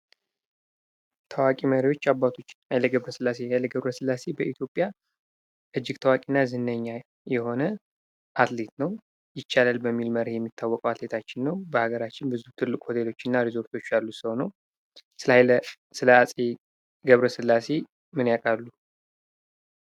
ታዋቂ መሪዎች እና አባቶች፦ ሀይለ ገብረ ስላሴ፦ ሀይለ ገብረ ስላሴ በኢትዮጵያ እጅግ ታዋቂ እና ዝነኛ የሆነ አትሌት ነው። ይቻላል በሚል መርህ የሚታዎቅ አትሌታችን ነው። በሀገራችን ብዙ ትልቅ ሆቴሎች እና ረዞርቶች ያሉት ሰው ነው። ስለ ሀይለ ገብረ ስላሴ ምን ያቃሉ።